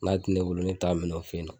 N'a tɛ ne bolo ne bɛ taa minɛn o fɛ ye nɔ.